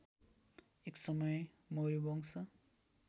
एक समय मौर्यवंश